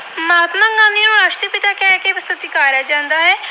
ਸਤਿਕਾਰਿਆ ਜਾਂਦਾ ਹੈ।